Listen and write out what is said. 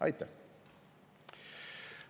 Aitäh!